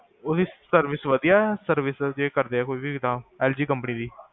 ਓਦੀ service ਵਦੀਆਂ ਆ service ਵਦੀਆਂ ਕਰਦੇ ਆ ਕੋਈ ਵੀ ਐਲ ਜੀ ਕੰਪਨੀ ਦੀ